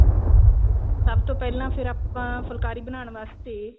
ਸਬ ਤੋਂ ਪਹਿਲਾਂ ਫੇਰ ਆਪਾਂ ਫੁੱਲਕਾਰੀ ਬਣਾਉਣ ਵਾਸਤੇ